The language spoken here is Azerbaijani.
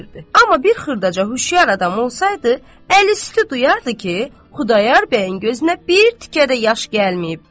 Amma bir xırdaca xüşyar adam olsaydı, əli üstü duyardı ki, Xudayar bəyin gözünə bir tikə də yaş gəlməyibdi.